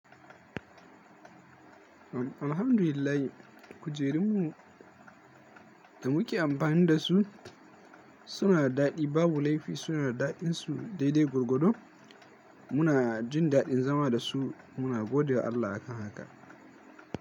Alhamdulillah kujerunmu da muke amfani da su suna da daɗi. Babu laifi, suna da daɗinsu daidai gwargwado. Muna jin daɗin zama da su. Muna gode wa Allah a kan haka.